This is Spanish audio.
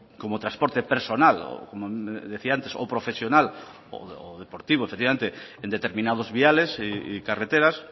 como transporte personal como decía antes o profesional o deportivo efectivamente en determinados viales y carreteras